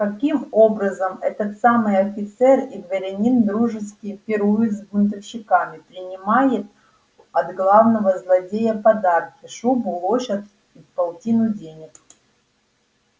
каким образом этот самый офицер и дворянин дружески пирует с бунтовщиками принимает от главного злодея подарки шубу лошадь и полтину денег